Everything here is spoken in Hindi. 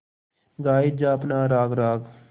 गाये जा अपना राग राग